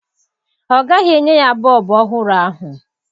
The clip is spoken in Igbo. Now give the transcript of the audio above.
Ọ gaghị enye ya bọọbụ ọhụrụ ahụ.